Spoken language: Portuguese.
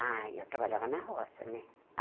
Ah, eu trabalhava na roça, né?